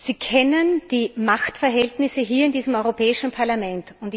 Sie kennen die Machtverhältnisse hier in diesem Europäischen Parlament.